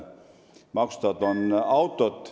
Maksustatud on autod.